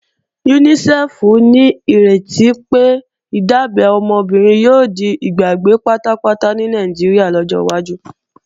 UNICEF nírètí pé, ìdábẹ́ ọmọ obìnrin yóò di ìgbàgbé pátápátá ní Nàìjíríà lọ́jọ́ wájú